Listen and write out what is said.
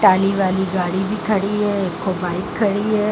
काली वाली गाड़ी भी खड़ी है। एक खो बाइक खड़ी है।